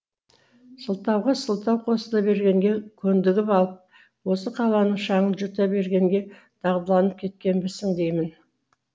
сылтауға сылтау қосыла бергенге көндігіп алп осы қаланың шаңын жұта бергенге дағдыланып кеткенбісің деймін